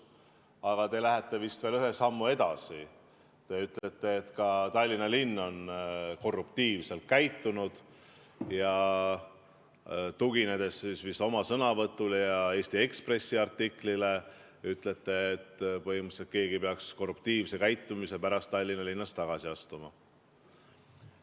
Aga te lähete vist veel ühe sammu edasi ja ütlete, et ka Tallinna linn on korruptiivselt käitunud ja – tuginedes vist oma sõnavõtule ja Eesti Ekspressi artiklile – ütlete, et põhimõtteliselt keegi peaks korruptiivse käitumise pärast Tallinna linnas tagasi astuma.